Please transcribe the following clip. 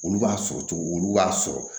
Olu b'a sɔrɔ cogo olu b'a sɔrɔ